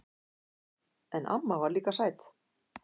En amma var líka sæt.